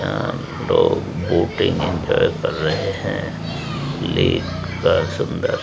हम लोग boating enjoy कर रहे हैं लेख का सुंदर--